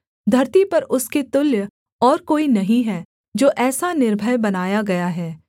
धरती पर उसके तुल्य और कोई नहीं है जो ऐसा निर्भय बनाया गया है